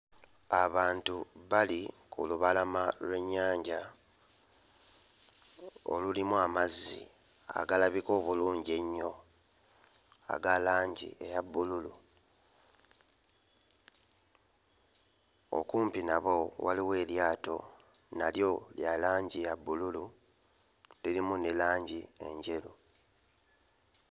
Abantu bali ku lubalama lw'ennyanja olulimu amazzi agalabika obulungi ennyo aga langi eya bbululu okumpi nabo waliwo eryato nalyo lya langi ya bbululu lirimu ne langi enjeru.